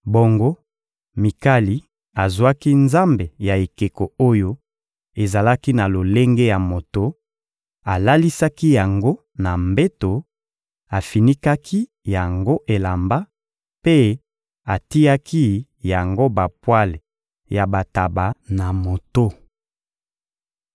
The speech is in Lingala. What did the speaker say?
Bongo Mikali azwaki nzambe ya ekeko oyo ezalaki na lolenge ya moto; alalisaki yango na mbeto, afinikaki yango elamba mpe atiaki yango bapwale ya bantaba na moto.